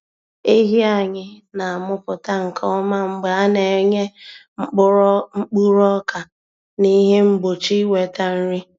Ehi anyị na-amụpụta nke ọma mgbe a na-enye mkpuru ọka na ihe mgbochi ịnweta nri.